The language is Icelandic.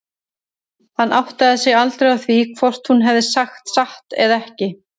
Hann áttaði sig aldrei á því hvort hún hefði sagt satt eða ekki.